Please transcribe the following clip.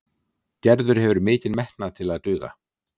Gerður hefur mikinn metnað til að duga.